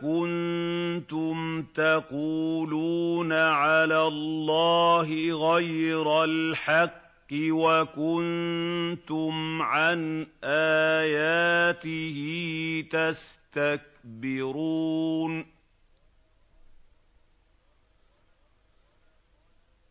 كُنتُمْ تَقُولُونَ عَلَى اللَّهِ غَيْرَ الْحَقِّ وَكُنتُمْ عَنْ آيَاتِهِ تَسْتَكْبِرُونَ